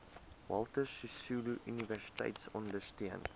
walter sisuluuniversiteit ondersteun